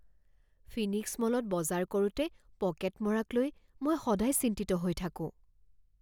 Phoenix মলত বজাৰ কৰোঁতে পকেট মৰাক লৈ মই সদায় চিন্তিত হৈ থাকোঁ।